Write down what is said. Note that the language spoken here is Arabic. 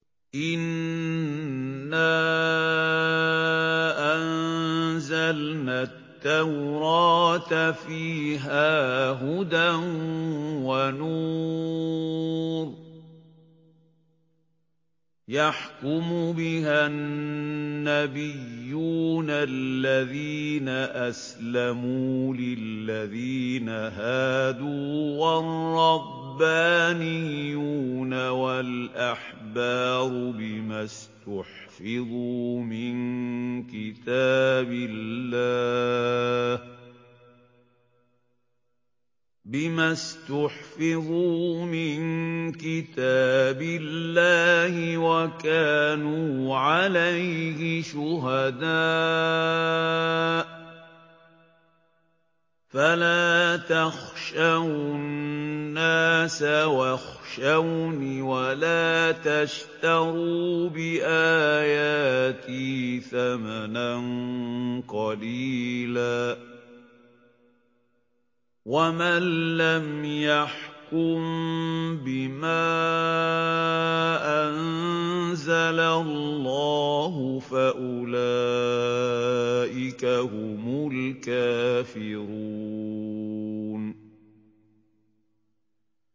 إِنَّا أَنزَلْنَا التَّوْرَاةَ فِيهَا هُدًى وَنُورٌ ۚ يَحْكُمُ بِهَا النَّبِيُّونَ الَّذِينَ أَسْلَمُوا لِلَّذِينَ هَادُوا وَالرَّبَّانِيُّونَ وَالْأَحْبَارُ بِمَا اسْتُحْفِظُوا مِن كِتَابِ اللَّهِ وَكَانُوا عَلَيْهِ شُهَدَاءَ ۚ فَلَا تَخْشَوُا النَّاسَ وَاخْشَوْنِ وَلَا تَشْتَرُوا بِآيَاتِي ثَمَنًا قَلِيلًا ۚ وَمَن لَّمْ يَحْكُم بِمَا أَنزَلَ اللَّهُ فَأُولَٰئِكَ هُمُ الْكَافِرُونَ